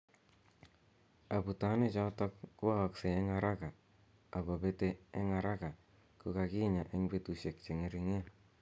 Abutanik cho tok kwa aksei eng araka ako pet eng araka ko kanyaa eng butushek che ngerigen.